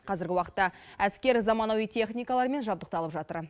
қазіргі уақытта әскер заманауи техникалармен жабдықталып жатыр